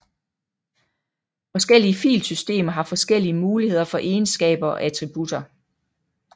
Forskellige filsystemer har forskellige muligheder for egenskaber og attributter